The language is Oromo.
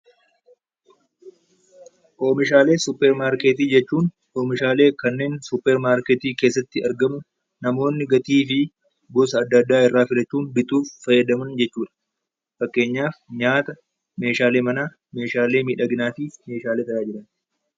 Oomishaalee suppermaarketii jechuun oomishaalee kanneen suppermaarketii keessatti argamu namoonni gatii fi gosa adda addaa irraa filachuun bituuf fayyadaman jechuu dha. Fakkeenyaaf, nyaata, meeshaalee manaa, meeshaalee miidhaginaa fi meeshaalee tajaajilaa.